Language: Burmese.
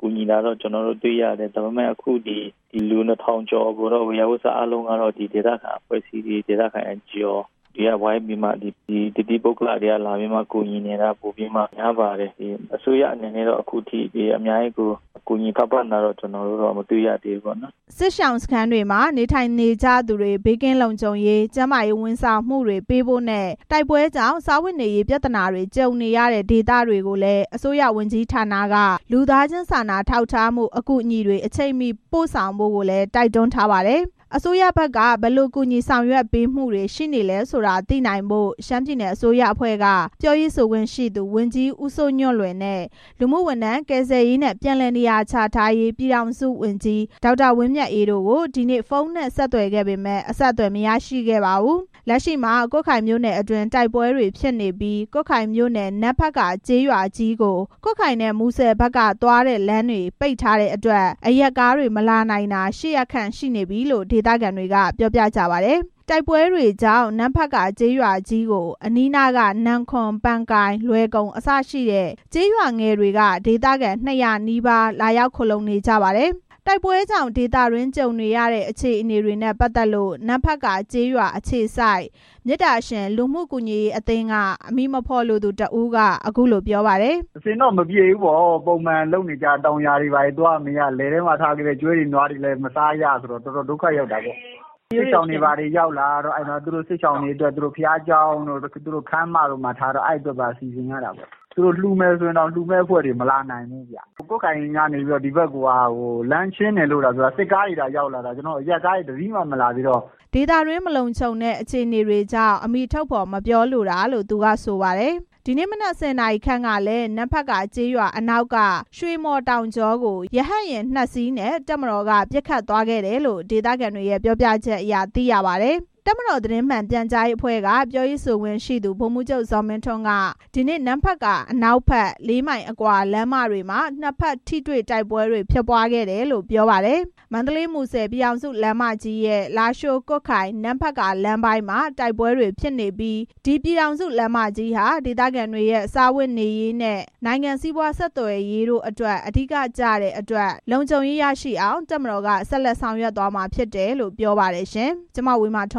ကူညီနေတာတွေ့တယ်။ ဒါပေမဲ့ ဒီ လူ ၂၀၀၀ ကျော်ကို ဝေယျာဝစ္စအားလုံးကို ဒေသခံ အဖွဲ့အစည်းတွေ NGO က ဝိုင်းပြီး တသီးပုဂ္ဂလတွေက လာပြီးကူညီနေတာများပါတယ်။ အစိုးရက အခုထိ အများကြီး ကူညီထောက်ပံ့တာတော့ ကျနော်တို့ မတွေ့ရသေးဘူးပေါ့နော်” စစ်ရှောင်စခန်းတွေမှာ နေထိုင်နေရသူတွေ ဘေးကင်းလုံခြုံရေး၊ ကျန်းမာရေးဝန်ဆောင်မှုတွေပေးဖို့နဲ့ တိုက်ပွဲကြောင့် စားဝတ်နေရေးပြဿနာတွေ ကြုံနေရတဲ့ ဒေသတွေကိုလည်း အစိုးရဝန်ကြီးဌာတွေက လူသားချင်း စာနာထောက်ထားမှု အကူအညီတွေ အချိန်မီပို့ဆောင်ပေးဖို့ကိုလည်း တိုက်တွန်းထားပါတယ်။ အစိုးရဘက်က ဘယ်လိုကူညီဆောင်ရွက်ပေးမှုတွေ ရှိနေလဲဆိုတာသိနိုင်ဖို့ ရှမ်းပြည်နယ်အစိုးရအဖွဲ့က ပြောရေးဆိုခွင့်ရှိသူ ဝန်ကြီး ဦးစိုးညွန့်လွင်နဲ့ လူမှုဝန်ထမ်းကယ်ဆယ်ရေးနဲ့ ပြန်လည်နေရာချထားရေး ပြည်ထောင်စုဝန်ကြီး ဒေါက်တာဝင်းမြတ်အေးတို့ကို ဒီကနေ့ ဖုန်းနဲ့ဆက်သွယ်ခဲ့ပေမယ့် အဆက်အသွယ် မရခဲ့ပါဘူး။ လက်ရှိမှာ ကွတ်ခိုင်မြို့နယ်အတွင်း တိုက်ပွဲတွေဖြစ်နေပြီး ကွတ်ခိုင်မြို့နယ်၊ နမ့်ဖက်ကာကျေးရွာကြီးကို ကွတ်ခိုင်နဲ့ မူဆယ်ဖက်က သွားတဲ့လမ်းတွေ ပိတ်ထားတဲ့အတွက် အရပ်ကားတွေမလာနိုင်တာ ရှစ်ရက်ခန့် ရှိနေပြီလို့ ဒေသခံတွေက ပြောပါတယ်။ တိုက်ပွဲတွေကြောင့် နမ့်ဖက်ကာကျေးရွာကြီးကို အနီးနားက နမ့်ခွန်၊ ပန်ကိုင်၊ လွယ်ကုန် အစရှိတဲ့ကျေးရွာငယ် တွေက ဒေသခံ ၂၀၀ နီးပါး လာရောက်ခိုလှုံနေကြတာဖြစ်ပါတယ်။ တိုက်ပွဲကြောင့် ဒေသတွင်းကြုံနေရတဲ့ အခြေအနေကို နမ့်ဖက်ကာကျေးရွာ အခြေစိုက် မေတ္တာရှင်လူမှုကူညီရေးအသင်းက အမည်မဖော်လိုသူတစ်ဦးက အခုလို ပြောပါတယ်။ “အဆင်တော့ မပြေဘူးပေါ့။ ပုံမှန်လုပ်နေကြ တောင်ယာတွေလည်း သွားမရ။ လယ်ထဲမှာထားခဲ့တဲ့ ကျွဲတွေ၊ နွားတွေလည်း မစားရ ဆိုတော့ တော်တော်ဒုက္ခရောက်တာပေါ့၊ စစ်ရှောင်တွေဘာတွေ ရောက်လာတော့ စစ်ရှောင်တွေအတွက် ဘုရားကျောင်းတို့ ခန်းမတို့မှာထားတော့ အဲ့အတွက်ကို ပြင်ဆင်ရတာပေါ့။ လှူမယ်ဆိုရင်တောင် လှူမယ့်အဖွဲ့တွေ မလာနိုင်ဘူး။ ကွတ်ခိုင်ကနေ ဒီဘက်ကို လမ်းရှင်းတယ်သာပြောတာ။ စစ်ကားတွေသာ ရောက်လာတာ၊ အရပ်ကားတွေ တစ်စီးမှ ရောက်မလာသေးတော့” ဒေသတွင်းမလုံခြုံတဲ့ အခြေအနေကြောင့် အမည်ထုတ်ဖော်မပြောလိုတာလို့ သူက ဆိုပါတယ်။ ဒီနေ့မနက် ၁၀ နာရီခန့်ကလည်း နမ့်ဖက်ကာကျေးရွာအနောက်က ရွှေမှော်တောင်ကြောကို ရဟတ်ယာဉ် နှစ်စီးနဲ့ တပ်မတော်က ပစ်ခတ်သွားခဲ့တယ်လို့ ဒေသခံတွေရဲ့ ပြောပြချက်အရ သိရပါတယ်။ တပ်မတော် သတင်းမှန်ပြန်ကြားရေးအဖွဲ့က ပြောရေးဆိုခွင့်ရှိသူ ဗိုလ်မှူးချုပ် ဇော်မင်းထွန်းက ဒီနေ့ နမ့်ဖက်ကာ အနောက်ဖက် လေးမိုင်အကွာ လမ်းမတွေမှာ နှစ်ဖက်ထိတွေ့ တိုက်ပွဲဖြစ်ပွားခဲ့တယ်လို့ ပြောပါတယ်။ မန္တလေး-မူဆယ် ပြည်ထောင်စုလမ်းမကြီးရဲ့ လားရှိုး-ကွတ်ခိုင်-နမ့်ဖက်ကာ လမ်းပိုင်းမှာ တိုက်ပွဲတွေဖြစ်နေပြီး ပြည်ထောင်စုလမ်းမကြီးဟာ စားဝတ်နေရေးနဲ့ နိုင်ငံစီးပွားဆက်သွယ်ရေးအတွက် အဓိက ကျတဲ့အတွက် လုံခြုံရေး ရရှိအောင် တပ်မတော်က ဆက်လက်ဆောင်ရွက်သွားရမှာ ဖြစ်တယ်လို့ ပြောပါတယ်။ (RFA သတင်းထောက် မဝေမာထွန်း